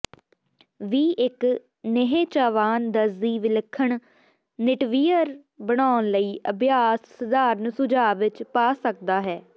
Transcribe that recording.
ਵੀ ਇੱਕ ਨਿਹਚਾਵਾਨ ਦਰਜ਼ੀ ਵਿਲੱਖਣ ਨਿਟਵੀਅਰ ਬਣਾਉਣ ਲਈ ਅਭਿਆਸ ਸਧਾਰਨ ਸੁਝਾਅ ਵਿੱਚ ਪਾ ਸਕਦਾ ਹੈ